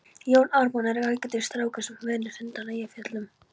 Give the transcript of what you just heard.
Jón Ármann er ágætis strákur, sagði Venus undan Eyjafjöllum.